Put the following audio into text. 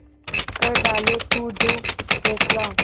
कर डाले तू जो फैसला